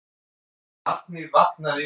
Barnið vaknaði í vagninum.